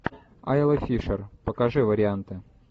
айла фишер покажи варианты